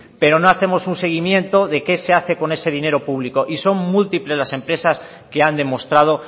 pero no hacemos un seguimiento de qué se hace con ese dinero público y son múltiples las empresas que han demostrado